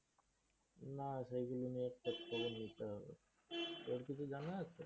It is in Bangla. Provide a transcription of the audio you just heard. না, সেইগুলো তো খোঁজ খবর নিতে হবে। তোর কিছু যানা আছে?